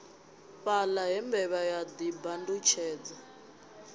fhaḽa he mbevha ya ḓibandutshedza